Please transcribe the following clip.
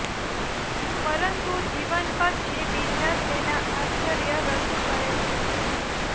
પરંતુ જીવન પછી બીજા તેના આશ્ચર્ય રજૂ કરે છે